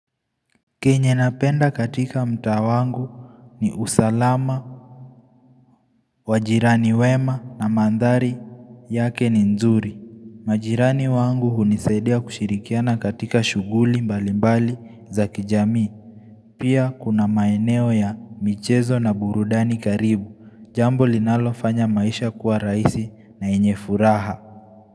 Kenye napenda katika mtaa wangu ni usalama, wajirani wema na mandhari yake ni nzuri. Majirani wangu hunisadia kushirikiana katika shughuli mbali mbali za kijamii. Pia kuna maeneo ya michezo na burudani karibu. Jambo linalo fanya maisha kuwa raisi na yenye furaha.